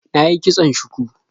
Na yi kitson shuku.